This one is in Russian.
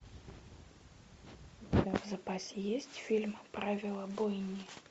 у тебя в запасе есть фильм правила бойни